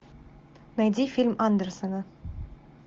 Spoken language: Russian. найди фильм андерсона